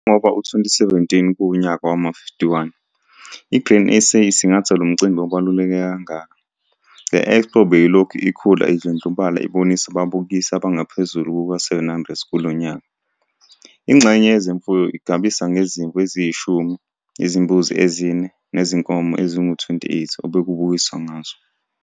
Ngengoba u-2017 kuwunyaka wama-51 i-Grain SA isingatha lomcimbi obaluleke kangaka, le-expo beyilokhu ikhula idlondlobala ibonisa ababukisi abangaphezulu kwama-700 kulo nyaka. Ingxenye yezemfuyo igabisa ngezimvu eziyishumi, izimbuzi ezine nezinkomo ezingama-28 obekubukiswa ngazo.